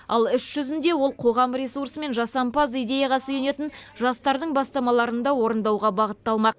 ал іс жүзінде ол қоғам ресурсы мен жасампаз идеяға сүйенетін жастардың бастамаларын да орындауға бағытталмақ